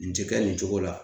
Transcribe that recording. Nin ti kɛ nin cogo la